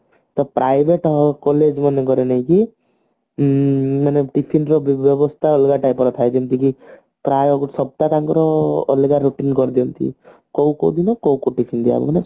ତ Private collage ମାନଙ୍କରେ ନାଇଁ କି ଉଁ tiffin ର ଦ୍ରୁବ୍ୟବସ୍ତା ଅଲଗା type ର ଥାଏ ଯେମିତିକି ପ୍ରାଏ ସପ୍ତାହ ତାଙ୍କର ଅଲଗା routine କରିଦିଅନ୍ତି କୋଉ କୋଉ ଦିନ କୋଉ କୋଉ tiffin ଦିଆହେବ ମାନେ